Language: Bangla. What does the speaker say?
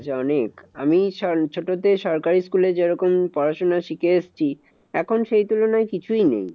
অনেক আমি ছোট তে সরকারি school এ যেরকম পড়াশোনা শিখে এসেছি, এখন সেই তুলনায় কিছুই নেই।